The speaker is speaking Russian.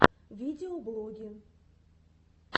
видеоблоги